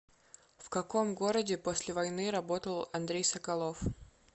в каком городе после войны работал андрей соколов